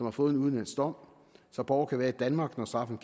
har fået en udenlandsk dom så borgere kan være i danmark når straffen